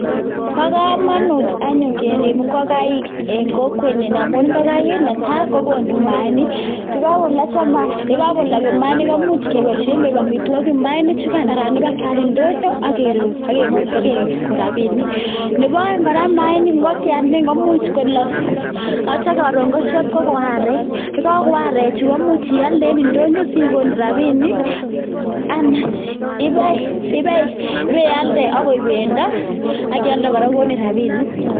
Bo kamanut anyun kerib ingokaik eng kokwet nyo amun ingokaik, netai kokonu mayainik. Ye kakolok mayainik, komuch keboishe koek amitwokik. Mayainik chukan anan ib kialda eng ndonyo AK kekon rabinik. Nebo aeng kora ingokyandanikan komuch kolok atyo karon koshep kokon arek. Yekagon arechu komuch ialde en ndonyo si sikon rabinik ana ibe iyalde ak koek bendo ak ialde kokon rabinik